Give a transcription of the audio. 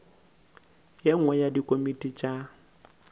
ye nngwe ya dikomiti tša